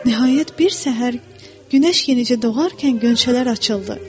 Nəhayət, bir səhər günəş yenicə doğarkən qönçələr açıldı.